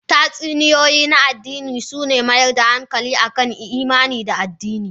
Tatsuniyoyi na adini suna mayar da hankali akan imani da adini.